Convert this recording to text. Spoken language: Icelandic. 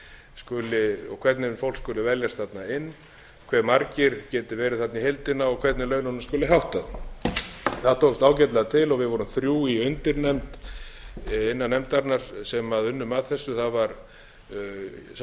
skuli og hvernig fólk skuli veljast þarna inn hve margir geti verið þarna í heildina og hvernig laununum skuli háttað það tókst ágætlega til og við vorum þrjú í undirnefnd innan nefndarinnar sem unnum að þessu það var sá sem